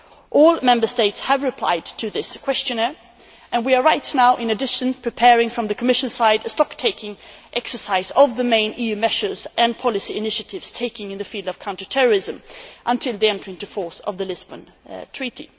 All Member States have replied to this questionnaire, and we are right now, in addition, preparing from the Commission side a stock taking exercise of the main EU measures and policy initiatives taken in the field of counter terrorism until the entry into force of the Lisbon Treaty.